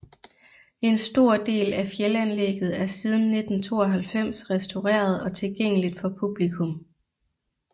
En stor del af fjeldanlægget er siden 1992 restaureret og tilgængelig for publikum